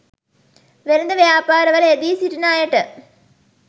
වෙළෙඳ ව්‍යාපාරවල යෙදී සිටින අයට